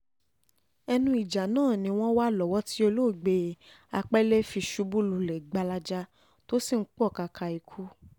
ẹnu ìjà náà ni wọ́n wà lọ́wọ́ tí olóògbé apele fi ṣubú lulẹ̀ gbalaja tó sì ń pọkàkà ikú